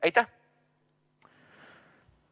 Aitäh!